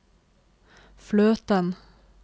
fløten